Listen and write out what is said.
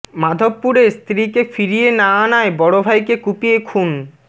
মাধবপুরে স্ত্রীকে ফিরিয়ে না আনায় বড় ভাইকে কুপিয়ে খুন